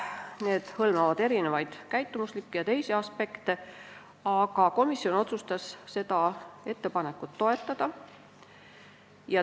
Need hõlmavad erinevaid käitumuslikke ja teisi aspekte, aga komisjon otsustas seda ettepanekut toetada.